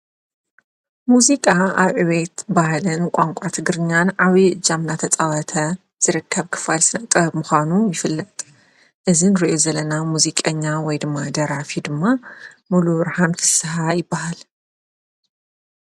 ሙዚቃ ኣብ ዕቤት ባህልን ቛንቋ ትግርኛን ዓብይ እጃም ናተፃዋተ ዝርከብ ክፋል ስነጥበብ ምዃኑ ይፍለጥ እዝንሪኦ ዘለና ሙዚቀኛ ወይ ድማ ደራፊ ድማ ሙሉብርሃን ፊስሓ ይበሃል::